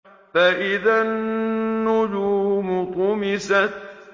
فَإِذَا النُّجُومُ طُمِسَتْ